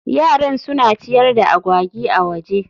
Yaran suna ciyar da agwagi a waje